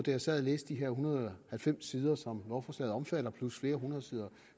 jeg sad og læste de her en hundrede og halvfems sider som lovforslaget omfatter plus flere hundrede sider